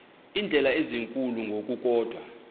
iindleko ezinkulu ngokukodwa